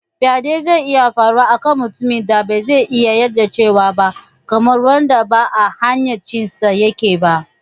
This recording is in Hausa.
Faɗe zai iya faruwa a kan mutumin da ba zai iya yarjewa ba, kamar wanda ba a hayyacinsa yake ba.